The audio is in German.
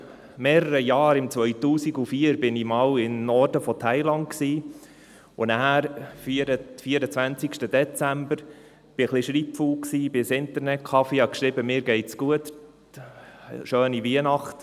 2004 war ich im Norden von Thailand, und am 24. Dezember – ich war etwas schreibfaul – ging ich ins Internetcafé und schrieb, mir ginge es gut und ich hätte eine schöne Weihnacht.